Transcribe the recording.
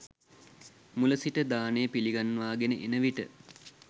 මුල සිට දානය පිළිගන්වාගෙන එන විට